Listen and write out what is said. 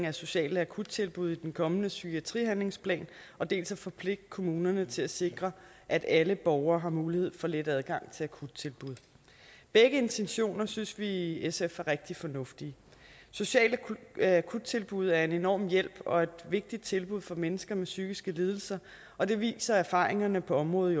af sociale akuttilbud i den kommende psykiatrihandlingsplan dels at forpligte kommunerne til at sikre at alle borgere har mulighed for let adgang til akuttilbud begge intentioner synes vi i sf er rigtig fornuftige sociale akuttilbud er en enorm hjælp og et vigtigt tilbud for mennesker med psykiske lidelser og det viser erfaringerne på området